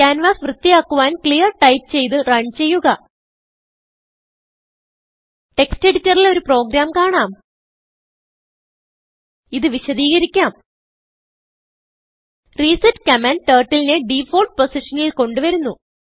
canvas വൃത്തിയാക്കുവാൻ clear type ചെയ്ത് runചെയ്യുക ടെക്സ്റ്റ് എഡിറ്റർ ൽ ഒരു പ്രോഗ്രാം കാണാം ഇത് വിശദീകരിക്കാം റിസെറ്റ് കമാൻഡ് Turtleനെ ഡിഫോൾട്ട് പൊസിഷനിൽ കൊണ്ട് വരുന്നു